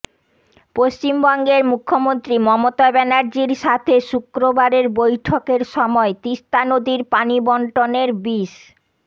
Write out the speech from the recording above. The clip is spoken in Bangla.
পশ্চিমবঙ্গের মুখ্যমন্ত্রী মমতা ব্যানার্জির সাথে শুক্রবারের বৈঠকের সময় তিস্তা নদীর পানিবণ্টনের বিষ